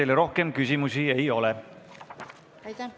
Teile rohkem küsimusi ei ole.